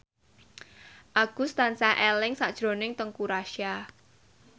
Agus tansah eling sakjroning Teuku Rassya